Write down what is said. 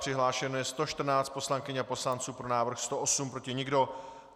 Přihlášeno je 114 poslankyň a poslanců, pro návrh 108, proti nikdo.